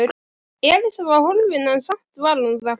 Elísa var horfin en samt var hún þarna.